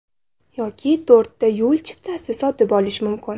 Yoki to‘rtta yo‘l chiptasi sotib olish mumkin.